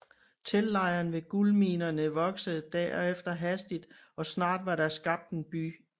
Teltlejren ved guldminerne voksede derefter hastigt og snart var der skabt en by